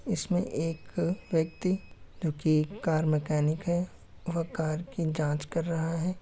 इसमें एक व्यक्ति जोकि कार मैकेनिक है और कार की जांच कर रहा है।